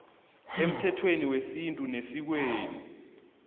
emthethweni wesintu nesikweni